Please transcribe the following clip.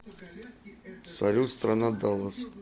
салют страна даллас